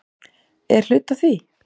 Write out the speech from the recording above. Er hluti af því?